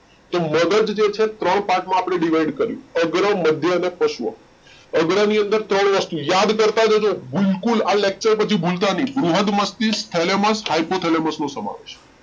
તો મગજ જે છે એ ત્રણ પાર્ટ માં આપડે ડીવીડ કર્યું અગ્ર, મધ્ય, અને પશ્વ, અગ્ર ની અંદર ત્રણ વસ્તુ યાદ કરતા જજો બિલકુલ આ લેચ્તુરે પછી ભૂલતા નહિ બૃહદ મસ્તિષ્ક, ફેલેમશ, હાઇપોથેલેમસ નો સમાવેશ